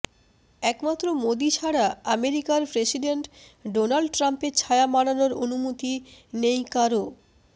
একমাত্র মোদী ছাড়া আমেরিকার প্রেসিডেন্ট ডোনাল্ড ট্রাম্পের ছায়া মাড়ানোর অনুমতি নেই কারও